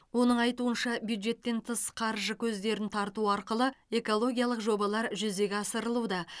оның айтуынша бюджеттен тыс қаржы көздерін тарту арқылы экологиялық жобалар жүзеге асырылуда